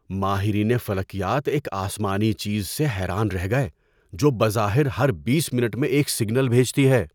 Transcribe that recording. ماہرین فلکیات ایک آسمانی چیز سے حیران رہ گئے جو بظاہر ہر بیس منٹ میں ایک سگنل بھیجتی ہے۔